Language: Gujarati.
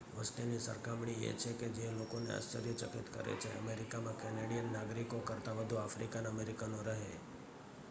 વસ્તીની સરખામણી એ છે કે જે લોકોને આશ્ચર્યચકિત કરે છે અમેરિકામાં કેનેડિયન નાગરિકો કરતાં વધુ આફ્રિકન અમેરિકનો રહે